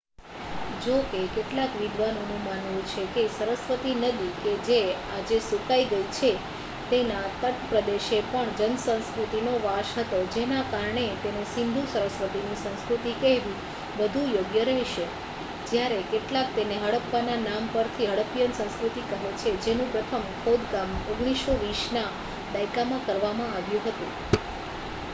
જો કે કેટલાક વિદ્વાનોનું માનવું છે કે સરસ્વતી નદી કે જે આજે સુકાઈ ગઈ છે તેના તટપ્રદેશે પણ જનસંસ્કૃતિનો વાસ હતો જેના કારણે તેને સિંધુ-સરસ્વતીની સંસ્કૃતિ કહેવી વધુ યોગ્ય રહેશે જ્યારે કેટલાક તેને હડપ્પાના નામ પરથી હડ્ડપીયન સંસ્કૃતિ કહે છે જેનું પ્રથમ ખોદકામ 1920 ના દાયકામાં કરવામાં આવ્યું હતું